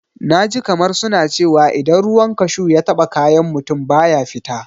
Na ji kamar suna cewa idan ruwan kashu ya taɓa kayan mutum, baya fita.